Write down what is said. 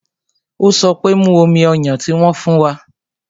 Ó sọ pé "Mú omi ọyàn tí wón fún wa"